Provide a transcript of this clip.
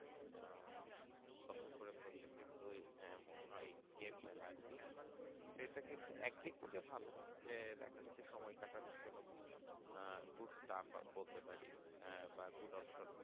কিন্তু ওই ah Mobile game আরকি সেটা কিন্তু একদিক থেকে ভালো যে একটা যদি সময় কাটানোর জন্য খুব আহ Good staff হয় বলতে পারি আহ Good opsop